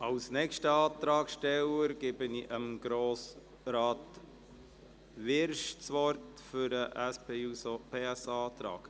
Als nächster Antragsteller hat Grossrat Wyrsch das Wort für den SP-JUSO-PSA-Antrag.